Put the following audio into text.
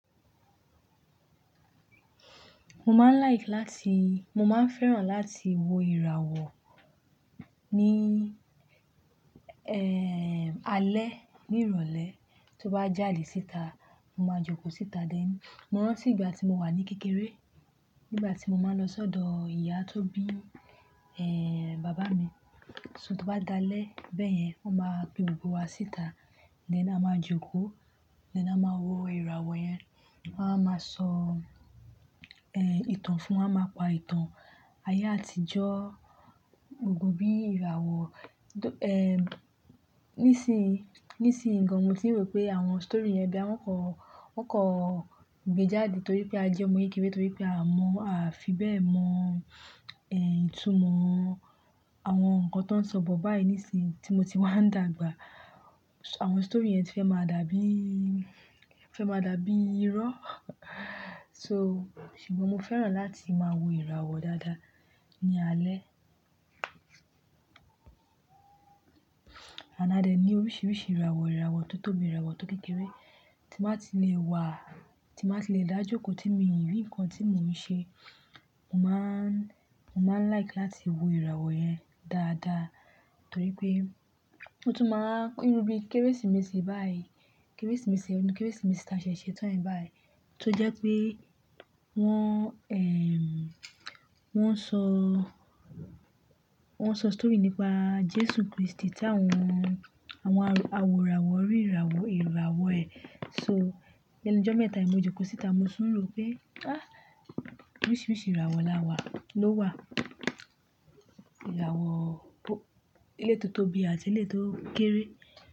Mo máa ń like láti, mo máa ń fẹ́ràn láti wo ìràwọ̀ ní, ẹ́, alẹ́ ní ìrọ̀lẹ́. Tó bá jáde síta, mo máa jókòó síta dé. Mó rántí ìgbà tí mó wà ní kékeré, nígbà tí mó máa ń lọ sọ́dọ̀ ìyá tó bí, ẹ́, bàbá mi. So tó bá dalẹ́ bẹ́ẹ̀ yẹn, wọ́n máa pe gbógbó wa síta. Á máa jókòó, lẹ́ná máa wo ìràwọ̀ yẹn. Wọ́n á máa sọ, ẹ́, ìtàn fún wa, máa pa ìtàn ayé àtijọ́, gbógbó bí ìràwọ̀. Ẹ̀, nísìí, nísìí gan, mó ti rò pé àwọn story yẹn bí àwọn kọ̀, wọ́n kọ̀ gbejáde torí pé a jẹ́ ọmọ yíkìíkì torí pé a mọ̀, a fi bẹ́ẹ̀ mọ ẹ́ ìtumọ̀ àwọn nǹkan tó ń sọ bọ̀ báyìí nísìí tí mó ti wá ń dàgbà. Àwọn story yẹn ti fẹ́ máa dàbí, fẹ́ máa dàbí irọ́. So ṣùgbọ́n mó fẹ́ràn láti máa wo ìràwọ̀ dáadáa ní alẹ́. Á dẹ̀ ní oríṣiríṣi ìràwọ̀, ìràwọ̀ tó tóbi, ìràwọ̀ tó kékeré tí máa ti lè wà, tí máa ti lè dá jókòó, tí mi yín nǹkan tí mò ń ṣe. Mó máa ń, mó máa ń like láti wo ìràwọ̀ yẹn dáadáa torí pé ó tún máa ń rún bí Kérésìmesì báyìí. Kérésìmesì ọdún, Kérésìmesì tí a ṣẹ̀ṣẹ̀ tán báyìí tó jẹ́ pé wọ́n, ẹ́m, wọ́n sọ, wọ́n sọ story nípa Jésù Kristi tí àwọn, àwọn awòràwọ̀ rí ìràwọ̀, ìràwọ̀ ẹ. So lẹ́nu jọ́ mẹ́ta mo jókòó síta, mo súnro pé, "Ah! Oríṣiríṣi ìràwọ̀ la wà, ló wà. Ìràwọ̀ tó, ilé tó tóbi àti ilé tó kéré."